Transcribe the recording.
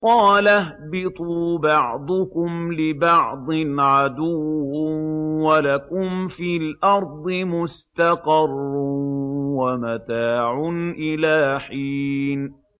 قَالَ اهْبِطُوا بَعْضُكُمْ لِبَعْضٍ عَدُوٌّ ۖ وَلَكُمْ فِي الْأَرْضِ مُسْتَقَرٌّ وَمَتَاعٌ إِلَىٰ حِينٍ